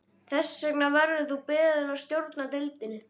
Þess vegna verður þú beðinn að stjórna deildinni